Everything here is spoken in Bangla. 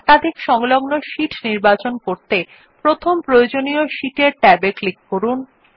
একাধিক সংলগ্ন শীট নির্বাচন করতে প্রথম প্রয়োজনীয় শীট এর ট্যাব এ ক্লিক করুন